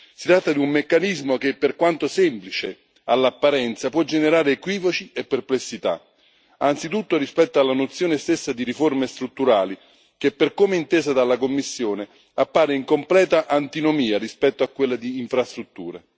Si tratta di un meccanismo che, per quanto semplice all'apparenza, può generare equivoci e perplessità, anzitutto rispetto alla nozione stessa di riforme strutturali che, per come intesa dalla Commissione, appare in completa antinomia rispetto a quella di infrastrutture.